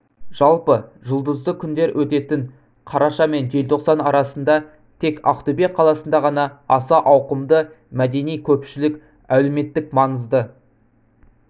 жалпы жұлдызды күндер өтетін қараша мен желтоқсан арасында тек ақтөбе қаласында ғана аса ауқымды мәдени-көпшілік әлеуметтік-маңызды